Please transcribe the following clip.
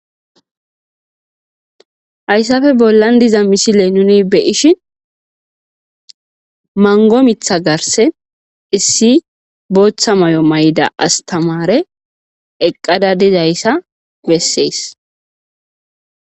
Haysape bolan diza missile nuni be'ishin mango mitha garsen issi botha mayo mayada astamare eqada dizaysa beses.